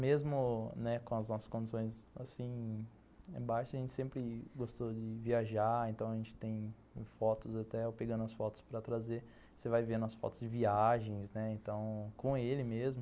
Mesmo né com as nossas condições baixas, a gente sempre gostou de viajar, então a gente tem fotos até, eu pegando as fotos para trazer, você vai vendo as fotos de viagens, né, com ele mesmo.